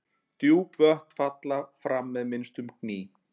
Djúp vötn falla fram með minnstum gný.